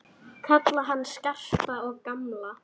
Kalla hann Skarpa og gamla!